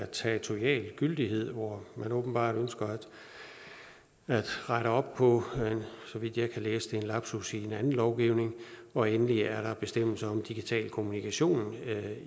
territorial gyldighed hvor man åbenbart ønsker at rette op på så vidt jeg kan læse det en lapsus i en anden lovgivning og endelig er der bestemmelser om digital kommunikation